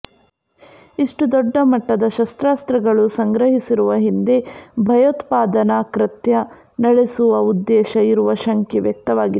ಇಷ್ಟು ದೊಡ್ಡ ಮಟ್ಟದ ಶಸ್ತ್ರಾಸ್ತ್ರಗಳು ಸಂಗ್ರಹಿಸಿರುವ ಹಿಂದೆ ಭಯೋತ್ಪಾದನಾ ಕೃತ್ಯ ನಡೆಸುವ ಉದ್ದೇಶ ಇರುವ ಶಂಕೆ ವ್ಯಕ್ತವಾಗಿದೆ